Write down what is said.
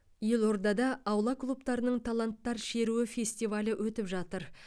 елордада аула клубтарының таланттар шеруі фестивалі өтіп жатыр